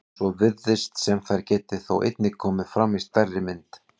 Svo virðist sem þær geti þó einnig komið fram í stærri mynd.